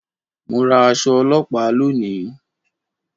Mo ra aṣọ ọlọ́pàá lónìí